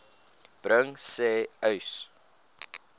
bring sê uys